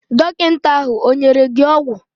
Dọkịta ahụ ọ nyere gị ọgwụ?